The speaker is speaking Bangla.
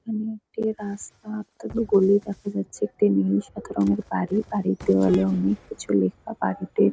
এখানে একটি রাস্তা গলি দেখা যাচ্ছে। একটি নীল সাদা রঙের বাড়ি। বাড়ির দেওয়ালে অনেক কিছু লেখা। বাড়িতে--